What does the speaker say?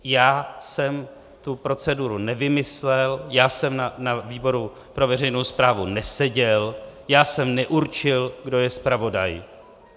Já jsem tu proceduru nevymyslel, já jsem na výboru pro veřejnou správu neseděl, já jsem neurčil, kdo je zpravodaj.